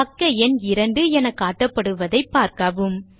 பக்க எண் 2 என காட்டப்படுவதை பார்க்கவும்